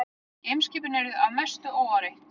Geimskipin eru því að mestu óáreitt.